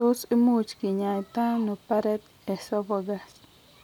Tos imuch kinyai ta ano Barrett esophagus ?